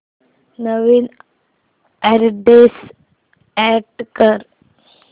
नवीन address add कर